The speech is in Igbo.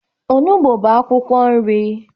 Onugbo bu akwukwo nri